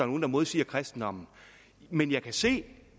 nogen der modsiger kristendommen men jeg kan se